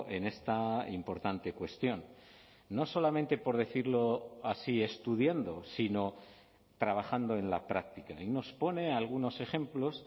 en esta importante cuestión no solamente por decirlo así estudiando sino trabajando en la práctica y nos pone algunos ejemplos